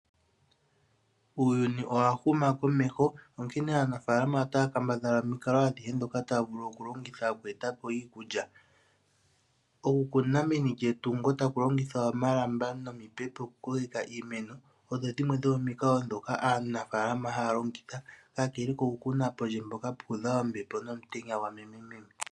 Uuyuni owa huma komeho onghene aanafaalama ota ya kambadhala omikalo adhihe ndhoka taya vulu oku longitha oku etapo iikulya. Oku kuna meni lyetungo taku longithwa omalamba nomipepo oku kokeka iimeno . Odho dhimwe dhomomikalo ndhoka aanafaalama haya longitha kakele ko ku kuna pondje mpoka puudha ombepo nomutenya gwa meme.